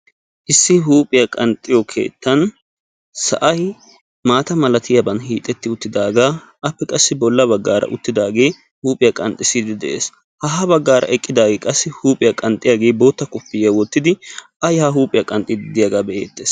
Issi huuphiyaa qanxxiyo keettaan sa'ay maata malatiyaaban hiixetti uttidaagan appe qassi bolla baggara uttidaage huuphiyaa qanxxide de'ees ha ha baggara eqqidaage qassi huuphiyaa qanxxiyaage bootta kopiyiyaa wottidi a ya huuphiyaa qanxxidi de'iyaaga be"ettees.